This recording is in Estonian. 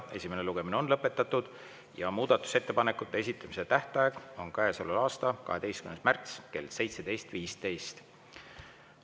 Esimene lugemine on lõpetatud ja muudatusettepanekute esitamise tähtaeg on käesoleva aasta 12. märts kell 17.15.